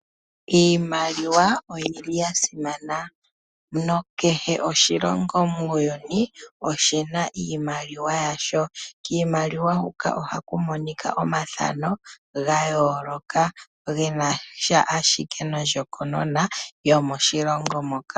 Iimaliwa oyi li ya simana na kehe oshilongo muuyuni oshi na iimaliwa yasho. Kiimaliwa huka ohaku monika omathano ga yooloka ge na sha ashike nondjokonona yomoshilongo moka.